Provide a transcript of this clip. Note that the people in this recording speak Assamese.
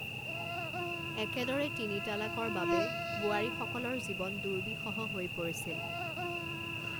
একেদৰে তিনি তালাকৰ বাবে বোৱাৰীসকলৰ জীৱন দুৰ্বিষহ হৈ পৰিছিল।